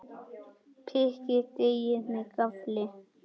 Pikkið deigið með gaffli.